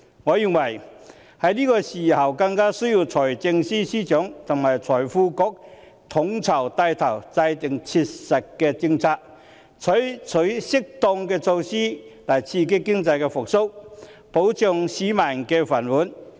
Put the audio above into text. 我認為在這個時候更需要財政司司長和財經事務及庫務局統籌，帶頭制訂切實的政策，採取適當的措施來刺激經濟復蘇，保障市民的"飯碗"。